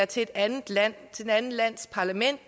til et andet land et andet lands parlament